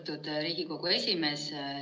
Austatud Riigikogu esimees!